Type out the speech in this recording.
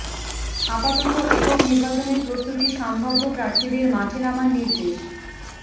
আপাতত একক নির্বাচনের প্রস্তুতি সম্ভাব্য প্রার্থীদের মাঠে নামার নির্দেশ